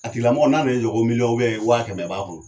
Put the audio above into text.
A tigilamɔgɔ n'a nan'i jɔ ko miliyɔn wa kɛmɛ b'a bo